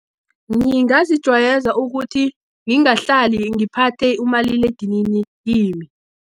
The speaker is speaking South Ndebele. Ngingazijwayeza ukuthi ngingahlali, ngiphathe umaliledinini kimi.